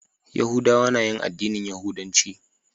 Yahudawa na yin addinin yahudanci.